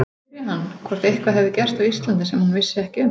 Spyrja hann, hvort eitthvað hefði gerst á Íslandi sem hún vissi ekki um.